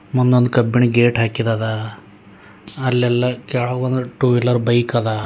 ಮುಂದೊಂದ್ ಕಬ್ಬಿಣ ಗೇಟ್ ಹಾಕಿದದ ಅಲ್ಲೆಲ್ಲ ಕೇಳಗೊಂದ್ ಟೂ ವೀಲರ್ ಬೈಕ್ ಅದ.